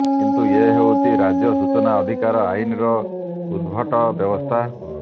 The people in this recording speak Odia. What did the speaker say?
କିନ୍ତୁ ଏ ହେଉଛି ରାଜ୍ୟ ସୂଚନା ଅଧିକାର ଆଇନର ଉଦଭଟ ବ୍ୟବସ୍ଥା